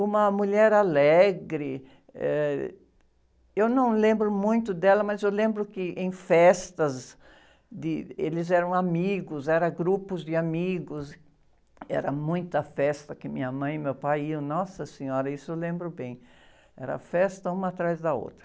uma mulher alegre, ãh, eu não lembro muito dela, mas eu lembro que em festas, de, eles eram amigos, eram grupos de amigos, era muita festa que minha mãe e meu pai iam, nossa senhora, isso eu lembro bem, era festa uma atrás da outra.